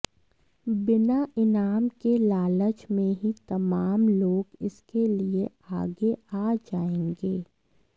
बिना इनाम के लालच में ही तमाम लोग इसके लिए आगे आ जाएंगे